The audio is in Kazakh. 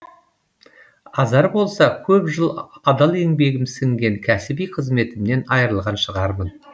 азар болса көп жыл адал еңбегім сіңген кәсіби қызметімнен айырылған шығармын